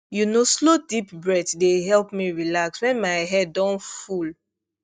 you know slow deep breath dey help me relax when my head don full